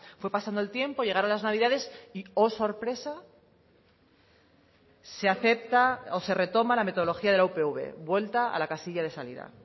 fue pasando el tiempo llegaron las navidades y oh sorpresa se acepta o se retoma la metodología de la upv vuelta a la casilla de salida